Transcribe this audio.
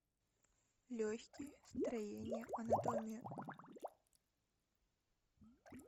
легкие строение анатомия